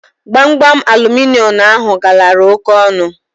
Gbamgbam aluminịọmụ ahụ galara óké ọnụ